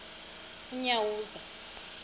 unyawuza